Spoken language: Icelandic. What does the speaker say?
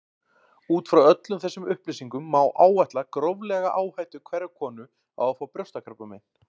Út frá öllum þessum upplýsingum má áætla gróflega áhættu hverrar konu á að fá brjóstakrabbamein.